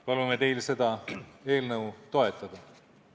Palume teil seda eelnõu toetada!